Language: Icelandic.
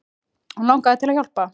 Og langaði þig til að hjálpa?